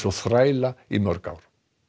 þræla í mörg ár